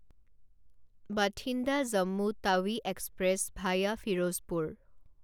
Bathinda Jammu Tawi Express via Ferozepur